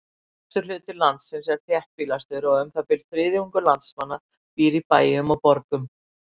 Vesturhluti landsins er þéttbýlastur og um það bil þriðjungur landsmanna býr í bæjum og borgum.